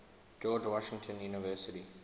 george washington university